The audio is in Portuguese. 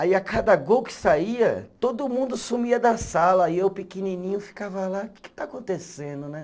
Aí a cada gol que saía, todo mundo sumia da sala e eu pequenininho ficava lá, o que que está acontecendo, né?